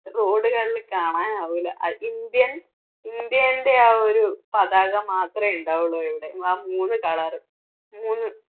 road കളില് കാണാൻ ആകൂല്ല. indian ഇന്ത്യന്റെ ആ ഒരു പതാക മാത്രമേ ഉണ്ടാവുള്ളൂ എവിടെയും ആ മൂന്ന് colour അങ്ങനെ